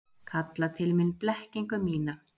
Kalla til mín blekkingu mína.